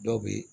Dɔw bɛ yen